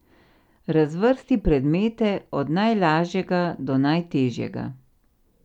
Razvrsti predmete od najlažjega do najtežjega.